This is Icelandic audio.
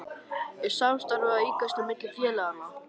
Er samstarfið að aukast á milli félaganna?